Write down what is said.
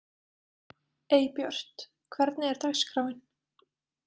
Eybjört, hvernig er dagskráin?